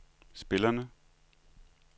spillerne